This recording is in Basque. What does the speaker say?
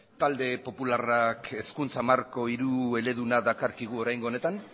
talde popularrak hezkuntza marko hirueleduna dakarkigu oraingo honetan